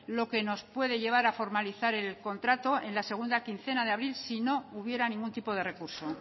lo que nos puede llevar a formalizar el contrato en la segunda quincena de abril si no hubiera ningún tipo de recurso